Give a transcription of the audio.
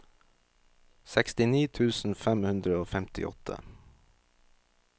sekstini tusen fem hundre og femtiåtte